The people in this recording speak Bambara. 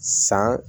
San